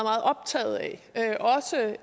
optaget af